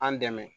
An dɛmɛ